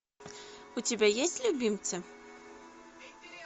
у тебя есть любимцы